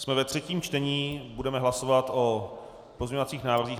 Jsme ve třetím čtení, budeme hlasovat o pozměňovacích návrzích.